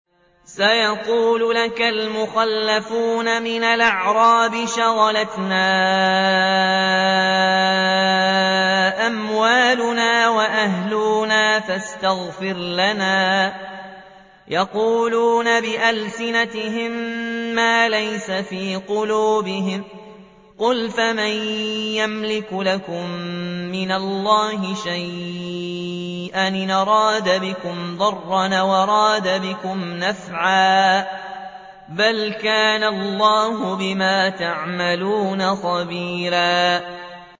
سَيَقُولُ لَكَ الْمُخَلَّفُونَ مِنَ الْأَعْرَابِ شَغَلَتْنَا أَمْوَالُنَا وَأَهْلُونَا فَاسْتَغْفِرْ لَنَا ۚ يَقُولُونَ بِأَلْسِنَتِهِم مَّا لَيْسَ فِي قُلُوبِهِمْ ۚ قُلْ فَمَن يَمْلِكُ لَكُم مِّنَ اللَّهِ شَيْئًا إِنْ أَرَادَ بِكُمْ ضَرًّا أَوْ أَرَادَ بِكُمْ نَفْعًا ۚ بَلْ كَانَ اللَّهُ بِمَا تَعْمَلُونَ خَبِيرًا